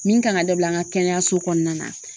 Min kan ŋa dabila an ŋa kɛnɛyaso kɔɔna na